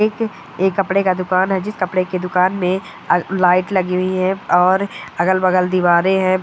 एक ये कपड़े का दुकान है जिस कपड़े के दुकान मे अ लाइट लगी हुई है और अगल-बगल दिवारे है।